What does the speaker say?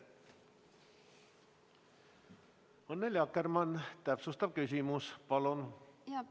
Annely Akkermann, täpsustav küsimus palun!